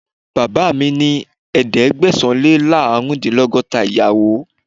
Bàbáà mi ní ẹ̀ẹ́dẹ́gbẹ̀sán-Lé-láàrúndínlọ́gọ́ta ìyàwó.